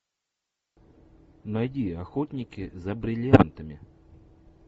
найди охотники за бриллиантами